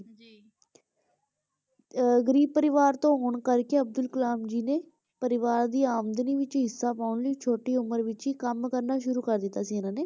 ਅਹ ਗਰੀਬ ਪਰਿਵਾਰ ਤੋਂ ਹੋਣ ਕਰਕੇ ਅਬਦੁਲ ਕਲਾਮ ਜੀ ਨੇ ਪਰਿਵਾਰ ਦੀ ਆਮਦਨੀ ਵਿੱਚ ਹਿੱਸਾ ਪਾਉਣ ਲਈ ਛੋਟੀ ਉਮਰ ਵਿੱਚ ਹੀ ਕੰਮ ਕਰਨਾ ਸ਼ੁਰੂ ਕਰ ਦਿੱਤਾ ਸੀ ਇਹਨਾਂ ਨੇ।